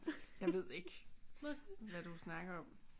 Jeg ved ikke hvad du snakker om